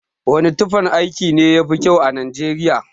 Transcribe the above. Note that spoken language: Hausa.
Wane tufan aiki ne yafi kyau a nijeriya?